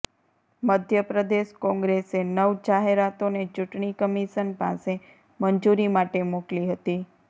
મધ્ય પ્રદેશ કોંગ્રેસે નવ જાહેરાતોને ચૂંટણી કમિશન પાસે મંજૂરી માટે મોકલી હતી